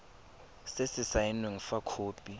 se se saenweng fa khopi